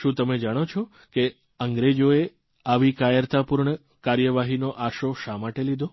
શું તમે જાણો છો કે અંગ્રેજોએ આવી કાયરતાપૂર્ણ કાર્યવાહીનો આશરો શા માટે લીધો